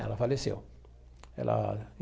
Ela faleceu ela.